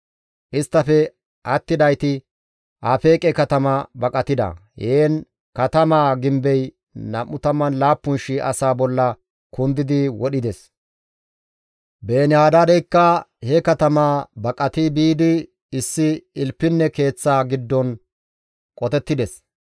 Isttafe attidayti Afeeqe katama baqatida; heen katamaa gimbey 27,000 asaa bolla kundidi wodhides. Beeni-Hadaadeykka he katama baqati biidi issi ilpinne keeththa giddon qotettides.